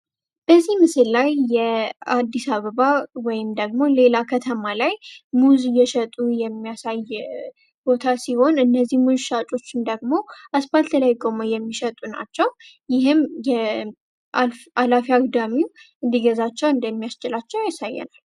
በዚህ መሰል ላይ የአዲስ አበባ ወይም ደግሞ ሌላ ከተማ ላይ ሙዝ እየሸጡ የሚያሳየው ሲሆን እነዚህ ሻጮች ደግሞ የሚሸጡ ናቸው ይህም እንዲገዛ እንደሚያስችላቸው።